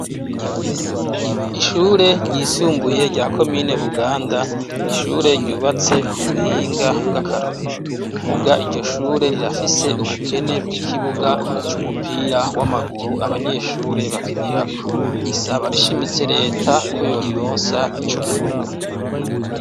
Ishure ryisumbuye, rya komine Buganda, ni ishure ryubatse ku buhinga bw'akarorero; muga iryo shure, rirafise ubukene bw'ikibuga c'umupira w'amaguru, abanyeshure bakinirako; risaba rishimitse leta, ko yorironsa ico kibuga.